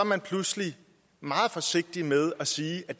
man pludselig meget forsigtig med at sige at